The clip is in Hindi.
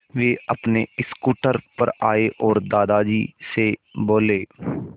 वे अपने स्कूटर पर आए और दादाजी से बोले